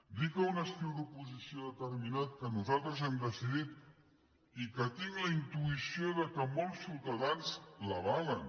dir que un estil d’oposició determinat que nosaltres hem decidit i que tinc la intuïció que molts ciutadans l’avalen